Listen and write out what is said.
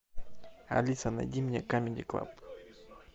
алиса найди мне камеди клаб